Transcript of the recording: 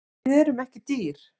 Við erum ekki dýr